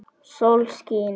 Sólskin var og veður stillt.